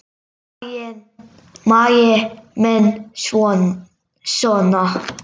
Maggi minn sona!